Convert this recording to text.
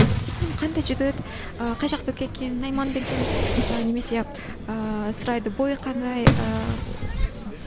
қандай жігіт ыыы қай жақтікі екен найман ба екен ы немесе ыыы сұрайды бойы қандай ыыы